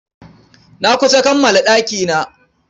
Na kusa kammala ɗakina.